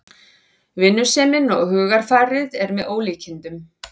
Vinnusemin og hugarfarið er með ólíkindum